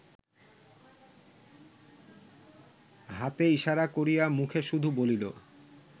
হাতে ইসারা করিয়া মুখে শুধু বলিল